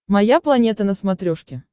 моя планета на смотрешке